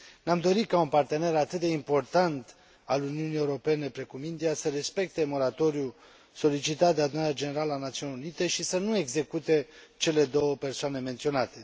Ne am dori ca un partener atât de important al Uniunii Europene, precum India, să respecte moratoriul solicitat de Adunarea Generală a Națiunilor Unite și să nu execute cele două persoane menționate.